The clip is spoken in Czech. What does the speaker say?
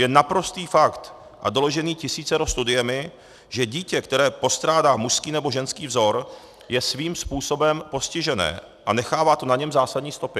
Je naprostý fakt a doložený tisícero studiemi, že dítě, které postrádá mužský nebo ženský vzor, je svým způsobem postižené a nechává to na něm zásadní stopy.